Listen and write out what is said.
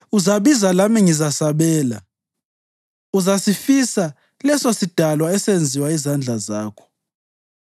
Uzabiza lami ngizasabela; uzasifisa lesosidalwa esenziwa yizandla zakho.